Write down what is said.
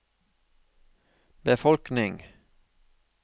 befolkning